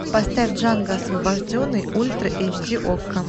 поставь джанго освобожденный ультра эйч ди окко